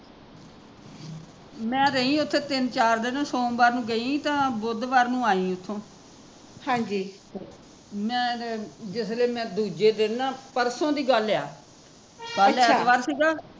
ਮੈਂ ਰਹੀ ਓਥੇ ਦੋ ਚਾਰ ਦਿਨ ਸੋਮਵਾਰ ਨੂ ਗਈ ਸੀ ਤਾਂ ਬੁੱਧਵਾਰ ਨੂ ਆਈ ਸੀ ਓਥੋਂ ਮੈਂ ਤੇ ਜਿਸ ਵੇਲੇ ਮੈਂ ਦੂਜੇ ਦਿਨ ਨਾ ਪਰਸੋਂ ਦੀ ਗੱਲ ਆ ਕਲ ਐਤਵਾਰ ਸੀਗਾ